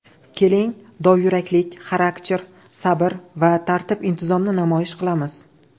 Keling dovyuraklik, xarakter, sabr va tartib intizomni namoyish qilamiz.